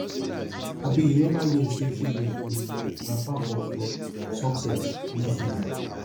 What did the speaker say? abi you neva hear sey failure um na part of um success no fear am